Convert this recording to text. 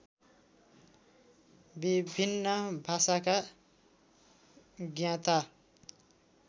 विभिन्न भाषाका ज्ञाता